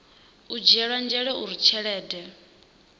u dzhielwa nzhele uri tshelede